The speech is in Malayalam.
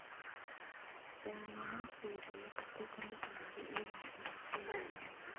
രാവണൻ സീതയെ തട്ടിക്കൊണ്ടുപോയത് ഈ വാഹനത്തിലാണ്.